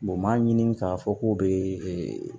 m'a ɲini k'a fɔ k'u bee